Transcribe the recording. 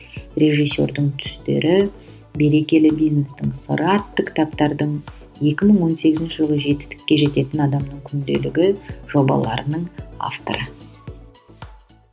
режиссердің түстері берекелі бизнестің сыры атты кітаптардың екі мың он сегізінші жылы жетістікке жететін адамның күнделігі жобаларының авторы